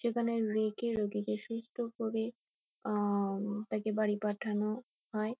সেখানে মৃগী রোগীকে সুস্থ করে আম তাকে বাড়ি পাঠানো হয়।